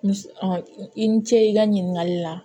Ni i ni ce i ka ɲininkali la